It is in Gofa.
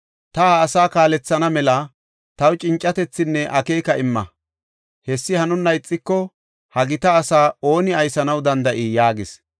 ta ha asaa kaalethana mela taw cincatethinne akeeka imma. Hessi hanonna ixiko, ha gita asaa ooni aysanaw danda7ii?” yaagis.